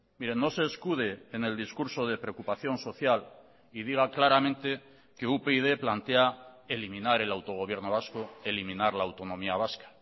mire no se escude en el discurso de preocupación social y diga claramente que upyd plantea eliminar el autogobierno vasco eliminar la autonomía vasca